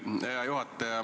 Hea juhataja!